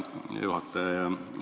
Hea juhataja!